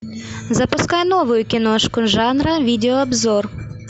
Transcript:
запускай новую киношку жанра видео обзор